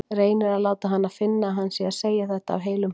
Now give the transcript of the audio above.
Reynir að láta hana finna að hann sé að segja þetta af heilum hug.